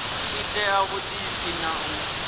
i ṋea vhuḓipfi na u